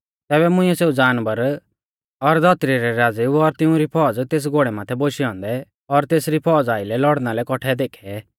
तैबै मुंइऐ सेऊ जानवर और धौतरी रै राज़ेऊ और तिउंरी फौज़ तेस घोड़ै माथै बोशै औन्दै और तेसरी फौज़ा आइलै लौड़णा लै कौठै देखै